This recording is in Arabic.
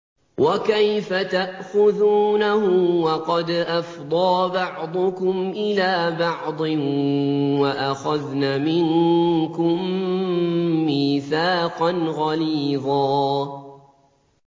وَكَيْفَ تَأْخُذُونَهُ وَقَدْ أَفْضَىٰ بَعْضُكُمْ إِلَىٰ بَعْضٍ وَأَخَذْنَ مِنكُم مِّيثَاقًا غَلِيظًا